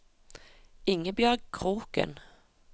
Ingebjørg Kroken